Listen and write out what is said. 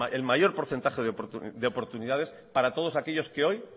el mayor porcentaje de oportunidades para todos aquellos que hoy